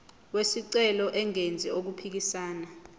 wesicelo engenzi okuphikisana